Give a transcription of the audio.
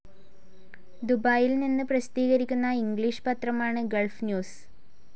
ദുബായിൽ നിന്ന് പ്രസിദ്ധികരിക്കുന്ന ഇംഗ്ലീഷ് പത്രമാണ് ഗൾഫ്‌ ന്യൂസ്‌